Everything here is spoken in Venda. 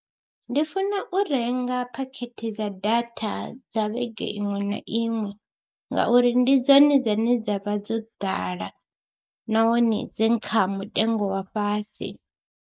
Ndi funa u renga phakhethe dza data dza vhege iṅwe na iṅwe ngauri ndi dzone dzine dza vha dzo ḓala nahone dzi kha mutengo wa fhasi.